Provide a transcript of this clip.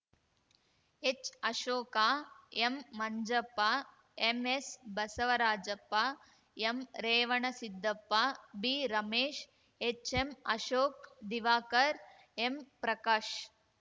ಎಚ್‌ಅಶೋಕ ಎಂಮಂಜಪ್ಪ MS Basavarajappa ಎಂರೇವಣಸಿದ್ದಪ್ಪ B Ramesh HM Ashok Diwakar M Prakash